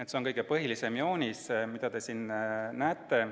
See on kõige põhilisem joonis, mida te siin näete.